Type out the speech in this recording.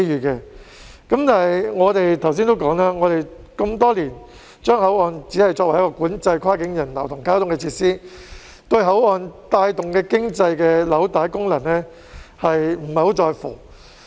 但是，正如我剛才指出，香港多年來只把口岸作為管制跨境人流及交通的設施，對口岸帶動經濟的紐帶功能不太在乎。